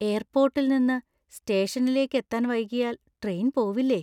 എയർപ്പോട്ടിൽ നിന്ന് സ്റ്റേഷനിലേക്കെത്താൻ വൈകിയാൽ ട്രെയിൻ പോവില്ലേ?